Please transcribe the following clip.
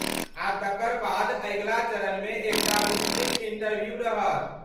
आ तकर बाद अगिला चरणमे एकटा विस्तृत इंटरव्यू रहत।